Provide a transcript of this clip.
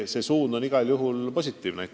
See suund on igal juhul positiivne.